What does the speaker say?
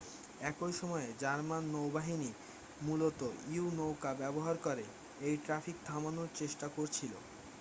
একই সময়ে জার্মান নৌবাহিনী মূলত ইউ-নৌকা ব্যবহার করে এই ট্র্যাফিক থামানোর চেষ্টা করছিল